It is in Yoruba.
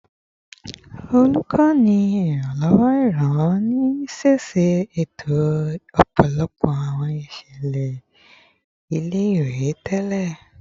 Olukọni Iranlọwọ Iranlọwọ ni siseto ọpọlọpọ awọn iṣẹlẹ ile-iwe tẹlẹ